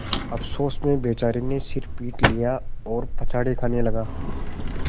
अफसोस में बेचारे ने सिर पीट लिया और पछाड़ खाने लगा